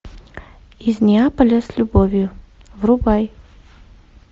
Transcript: из неаполя с любовью врубай